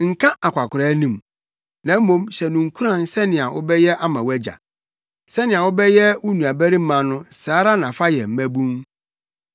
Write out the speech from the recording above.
Nka akwakoraa anim, na mmom hyɛ no nkuran sɛnea wobɛyɛ ama wʼagya. Sɛnea wobɛyɛ wo nuabarima no saa ara na fa yɛ mmabun,